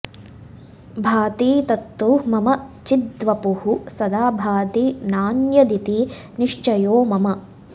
भाति तत्तु मम चिद्वपुः सदा भाति नान्यदिति निश्चयो मम